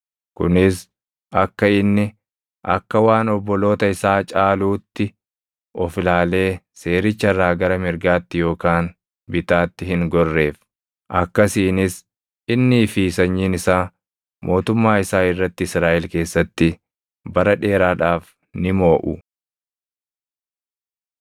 kunis akka inni akka waan obboloota isaa caaluutti of ilaalee seericha irraa gara mirgaatti yookaan bitaatti hin gorreef. Akkasiinis innii fi sanyiin isaa mootummaa isaa irratti Israaʼel keessatti bara dheeraadhaaf ni mooʼu.